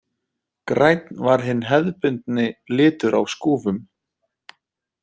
Grænn var hinn hefðbundni litur á skúfum.